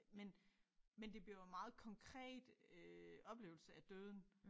Men men det bliver jo meget konkret øh oplevelse af døden